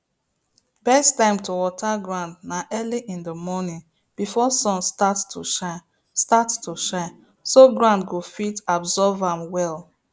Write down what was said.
best time to water ground na early in the morning before sun start to shine start to shine so ground go fit abosrb am well